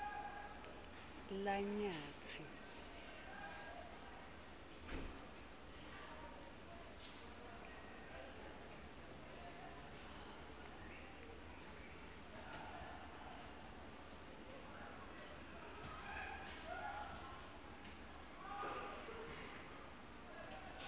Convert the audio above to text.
lanyatsi